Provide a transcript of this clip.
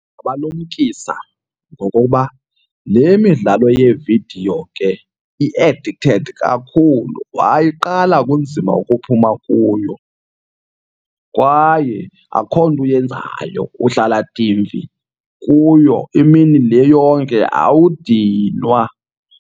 Ndabalumkisa ngokoba le midlalo yeevidiyo ke i-addicted kakhulu, wayiqala kunzima ukuphuma kuyo. Kwaye akho nto uyenzayo, uhlala dimfi kuyo imini le yonke awudinwa.